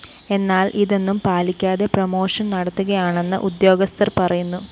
എന്നാല്‍ ഇതൊന്നും പാലിക്കാതെ പ്രമോഷൻ നടത്തുകയാണെന്ന് ഉദ്യോഗസ്ഥര്‍ പറയുന്നു